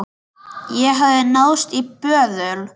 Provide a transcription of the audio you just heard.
Það hafði náðst í böðul.